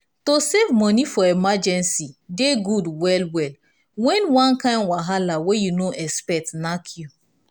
to save moni for emergency dey good well well when one kind wahala wey you no expect knack you